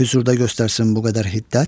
Hüzurda göstərsin bu qədər hiddət?